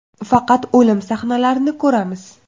Faqat o‘lim sahnalarini ko‘ramiz.